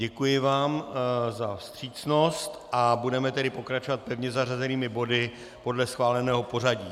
Děkuji vám za vstřícnost a budeme tedy pokračovat pevně zařazenými body podle schváleného pořadí.